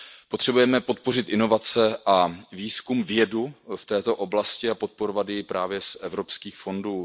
Potřebujeme podpořit inovace a výzkum, vědu v této oblasti a podporovat ji právě z evropských fondů.